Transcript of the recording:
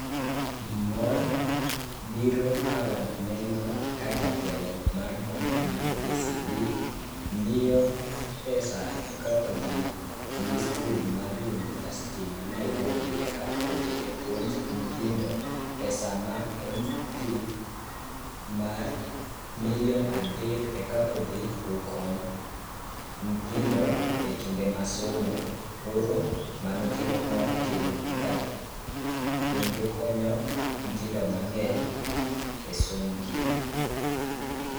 Mor biro ka waneno ka jatelo mar bank mar KCB miyo pesa e ka odhi ni skul mar University ma Nairobi e ka odhi e puonj nyithindo. Pesa ma odhi ma milion adek eka odhi okony nyithindo e kinde ma somo. Koro mano kelo mor kelo kata, kendo konyo nyithindo mang'eny e somb gi.